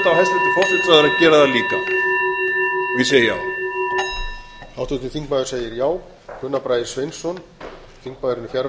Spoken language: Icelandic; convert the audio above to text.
verða fljótt og vel við beiðni um sérstaka umræðu auðvitað á hæstvirtur forsætisráðherra að gera það líka ég segi já